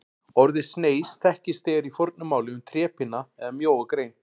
Orðið sneis þekkist þegar í fornu máli um trépinna eða mjóa grein.